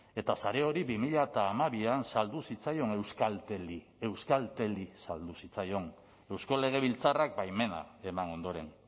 eta sare hori bi mila hamabian saldu zitzaion euskalteli euskalteli saldu zitzaion eusko legebiltzarrak baimena eman ondoren